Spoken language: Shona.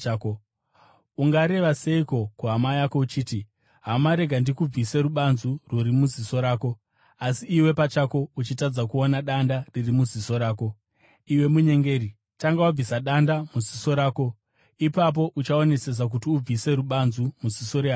Ungareva seiko kuhama yako uchiti, ‘Hama, rega ndikubvise rubanzu rwuri muziso rako, asi, iwe pachako uchitadza kuona danda riri muziso rako?’ Iwe munyengeri, tanga wabvisa danda muziso rako, ipapo uchaonesesa kuti ubvise rubanzu muziso rehama yako.